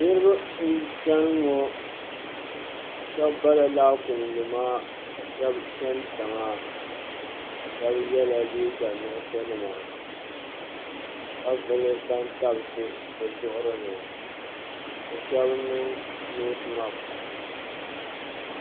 Niriba n chani ŋɔ shɛb bala laakumnima ka shɛb chani tiŋa ka vili bantabsi bɛ zuɣurini bɛ shɛb niŋ noosmaks